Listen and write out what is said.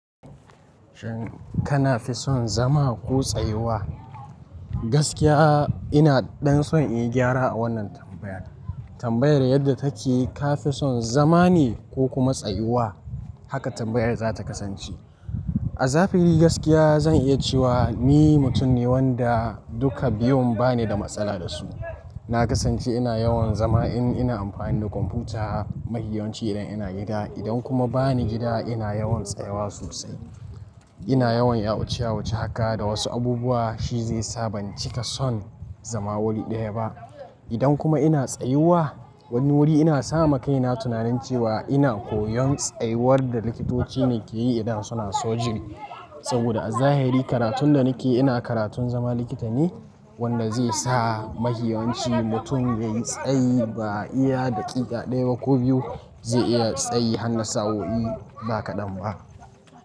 Shin kana fi son zama ko tsayuwa? Gaskiya ina dan son in yi gyara a wannan tambayar. Tambayar yadda take ka fi son zama ne ko kuma tsayuwa, haka tambayar za ta kasance. A zafi gaskiya zan iya cewa ni mutum ne wanda duka biyun ba ni da matsala da su. Na kasance ina yawan zama in ina amfani da kwamfuta, mahiyanci idan ina gida. Idan kuma ba ni gida ina yawan tsayawa sosai. Ina yawan yawo ciya wuce haka da wasu abubuwa shi zai sa ban cika son zama wuri ɗaya ba. Idan kuma ina tsayuwa, wani wuri ina sama kaina tunanin cewa ina koyon tsayuwar da likitoci ne ke yi idan suna aiki saboda a zahiri karatun da nake ina karatun zama likita ne wanda zai sa mahiyanci mutum yayi tsayi ba iya daƙiƙa ɗaya ba ko biyu zai iya tsayi har nasawoyi ba kaɗan ba.